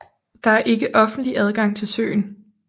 Der er ikke offentlig adgang til søen